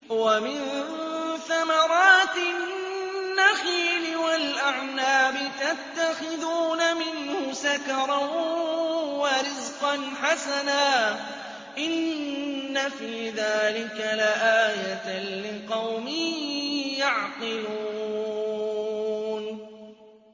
وَمِن ثَمَرَاتِ النَّخِيلِ وَالْأَعْنَابِ تَتَّخِذُونَ مِنْهُ سَكَرًا وَرِزْقًا حَسَنًا ۗ إِنَّ فِي ذَٰلِكَ لَآيَةً لِّقَوْمٍ يَعْقِلُونَ